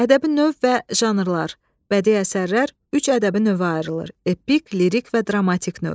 Ədəbi növ və janrlar: bədii əsərlər üç ədəbi növə ayrılır: epik, lirik və dramatik növ.